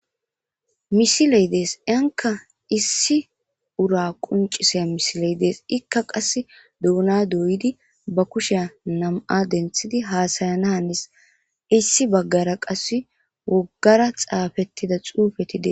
Misiley dees iyanka issi ura qoncisiza misiley dees ika qase duuna doyidi ba kushiya nam'a fenthidi hasayana Hanes issi bahara qase wogara xaafetida xuufey dees.